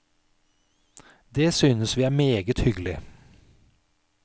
Det synes vi er meget hyggelig.